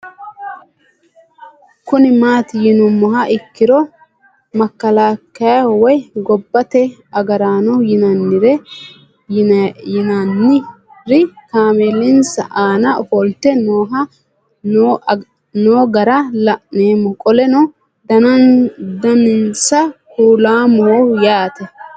Kuni mati yinumoha ikiro makalakiya woyi goba te agarano yinanir kameelinsa aana ofolite noo gara la'nemo qoleno danasi kulamoho yaate